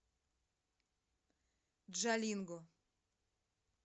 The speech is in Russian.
джалинго